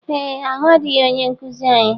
Ee ahụadịghị ónyé nkụzi anyị.